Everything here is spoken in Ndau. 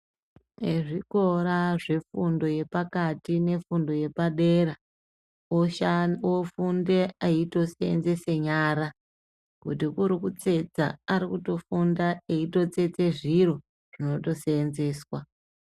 Ezvikora zve fundo yepakati ne fundo yepa dera ofunde eito senzese nyara kuti kuri kutsetsa arukuto funda eyito tsetse zviro zvinoto senzeswa.